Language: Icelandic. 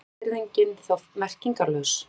Er fullyrðingin þá merkingarlaus?